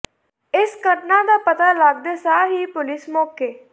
ਇਸ ਘਟਨਾ ਦਾ ਪਤਾ ਲੱਗਦੇ ਸਾਰ ਹੀ ਪੁਲਿਸ ਮੌਕੇ